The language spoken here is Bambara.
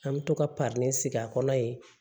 An bɛ to ka sigi a kɔnɔ ye